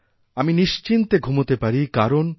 আমি নিশ্চিন্তে ঘুমাতেপারি কারণ